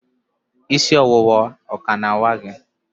isi ọwụwa o ka na-awa gị?